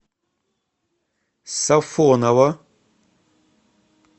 сафоново